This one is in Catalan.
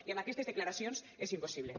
i amb aquestes declaracions és impossible